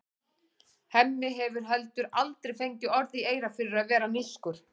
Hemmi hefur heldur aldrei fengið orð í eyra fyrir að vera nískur.